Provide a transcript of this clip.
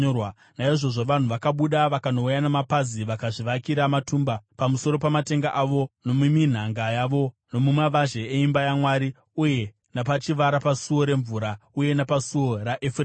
Naizvozvo vanhu vakabuda vakanouya namapazi vakazvivakira matumba pamusoro pamatenga avo, nomuminhanga yavo, nomumavazhe eimba yaMwari uye napachivara paSuo reMvura uye napaSuo raEfuremu.